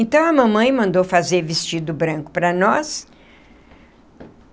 Então, a mamãe mandou fazer vestido branco para nós.